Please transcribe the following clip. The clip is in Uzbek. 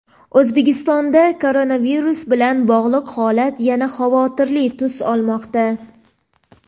O‘zbekistonda koronavirus bilan bog‘liq holat yana xavotirli tus olmoqda.